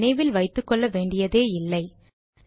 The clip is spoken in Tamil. அப்படி நினைவில் வைத்துக்கொள்ள வேண்டியதே இல்லை